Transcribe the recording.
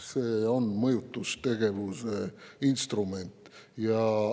See on mõjutustegevuse instrument.